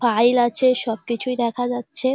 File আছে সব কিছুই দেখা যাচ্ছে ।